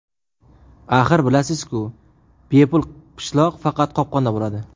Axir, bilasiz-ku, bepul pishloq faqat qopqonda bo‘ladi.